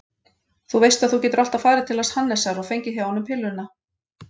Þú veist að þú getur alltaf farið til hans Hannesar og fengið hjá honum pilluna.